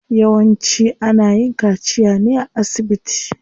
Yawanci ana yin kaciya ne a asibiti.